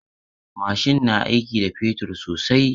Mashin na aiki da fetur sosai.